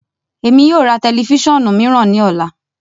Emi yoo ra tẹlifisiọnu miiran ni ọla.